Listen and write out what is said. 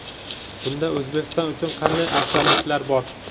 Bunda O‘zbekiston uchun qanday afzalliklar bor?.